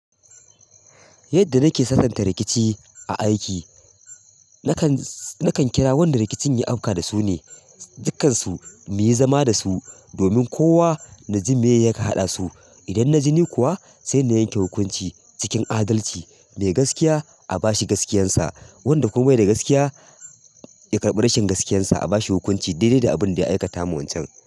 Yadda nake sananta rikici a aiki, nakan, nakan kira wanda rikicin ya auka da su ne, dukansu mu yi zama da su domin kowa naji me yaka haɗa su. Idan na ji ni kuwa sai na yanke hukunci cikin adalci. Mai gaskiya a bashi gaskiyarsa, wanda kuma bai da gaskiya ya karɓi rashin gaskiyarsa a bashi hukunci daidai da abin da ya aikata ma wancan.